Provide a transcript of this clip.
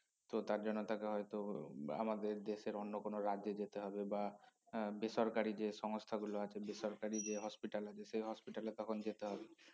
তো তার জন্য তাকে হয়তো আমাদের দেশের অন্য কোনো রাজ্যে যেতে হবে বা এর বেসরকারি যে সংস্থা গুলো আছে বেসরকারি যে hospital আছে সে hospital এ তখন যেতে হবে